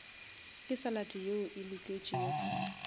ke salad yeo e loketšego